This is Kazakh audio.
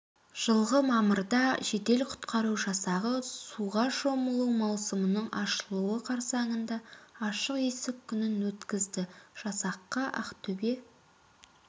жылғы мамырда жедел құтқару жасағы суға шомылу маусымының ашылуы қарсаңында ашық есік күнін өткізді жасаққа ақтөбе